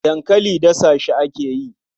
Dankali dasa shi ake yi.